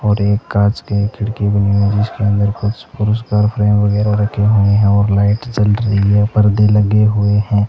और एक कांच की खिड़की बनी हुई है जिसके अंदर कुछ पुरस्कार फ्रेम वगैरा रखे हुए हैं और लाइट जल रही है परदे लगे हुए हैं।